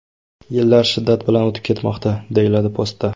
Yillar shiddat bilan o‘tib ketmoqda...” deyiladi postda.